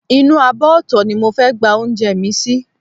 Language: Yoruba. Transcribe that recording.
Inú abọ́ ọ̀tọ̀ ni mo fẹ́ gba oúnjẹ mi sí